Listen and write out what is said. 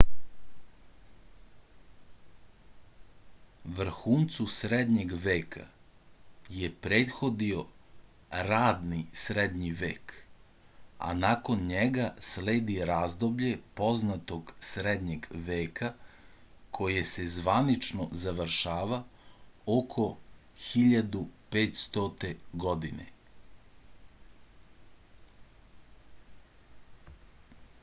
vrhuncu srednjeg veka je prethodio radni srednji vek a nakon njega sledi razdoblje poznog srednjeg veka koje se zvanično završava oko 1500. godine